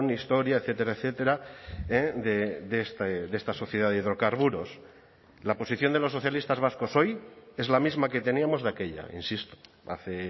historia etcétera etcétera de esta sociedad de hidrocarburos la posición de los socialistas vascos hoy es la misma que teníamos de aquella insisto hace